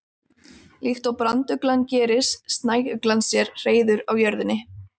Líkt og branduglan gerir snæuglan sér hreiður á jörðinni.